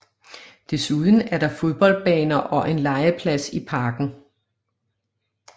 Desuden er der fodboldbaner og en legeplads i parken